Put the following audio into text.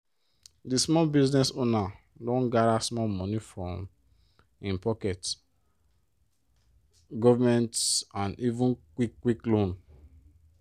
di small business owner don gada small money from - im pocket government and even quick-quick loan.